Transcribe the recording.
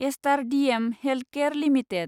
star DM Healthcare limited